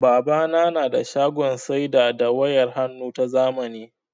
Babana na da shagon saida da wayar hannnu ta zamani.